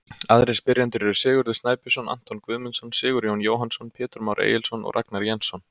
Aðrir spyrjendur eru: Sigurður Snæbjörnsson, Anton Guðmundsson, Sigurjón Jóhannsson, Pétur Már Egilsson og Ragnar Jensson.